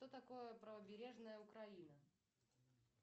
что такое правобережная украина